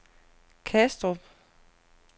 Kastrup